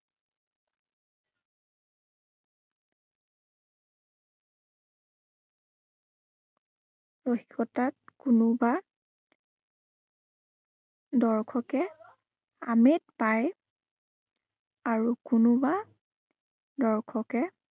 হঠাৎ কোনোবা দৰ্শকে, আমেদ পায় আৰু কোনোবা দৰ্শকে